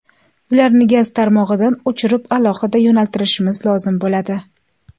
Ularni gaz tarmog‘idan o‘chirib, aholiga yo‘naltirishimiz lozim bo‘ladi.